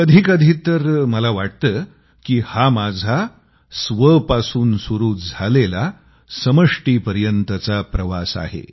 कधीकधी तर मला वाटतं की हा माझा स्वपासून सुरू झालेला समष्टीपर्यंतचा प्रवास आहे